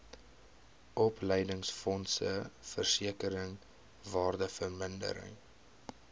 opleidingsfonds versekering waardevermindering